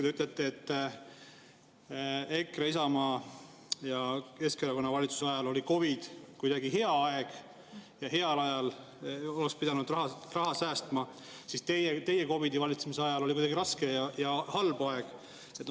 Te ütlete, et EKRE, Isamaa ja Keskerakonna valitsuse ajal, kui oli COVID, oli kuidagi hea aeg ja heal ajal oleks pidanud raha säästma, aga teie valitsemise ajal, kui oli COVID, oli kuidagi raske ja halb aeg.